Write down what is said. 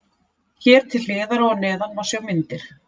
Hér til hliðar og að neðan má sjá myndir.